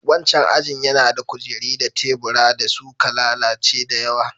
Wannan ajin yana da kujeru da tebura da suka lalace da yawa.